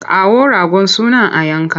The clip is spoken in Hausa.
Kawo ragon sunan a yanka!